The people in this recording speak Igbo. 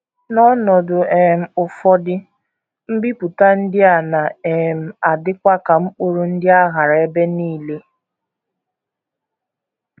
N’ọnọdụ um ụfọdụ, mbipụta ndị a na um - adịkwa ka mkpụrụ ndị a ghara ebe nile.